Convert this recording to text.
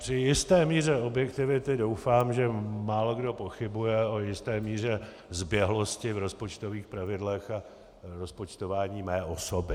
Při jisté míře objektivity doufám, že málokdo pochybuje o jisté míře zběhlosti v rozpočtových pravidlech a v rozpočtování mé osoby.